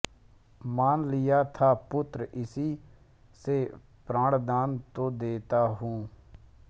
मान लिया था पुत्र इसी से प्राणदान तो देता हूँ